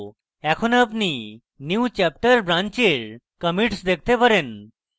এখন আপনি newchapter branch এর commits দেখতে পারেন